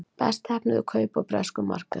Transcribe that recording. Best heppnuðu kaup á breskum markaði